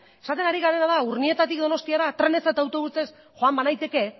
esaten ari garena da urnietatik donostiara trenez eta autobusez joan banaiteke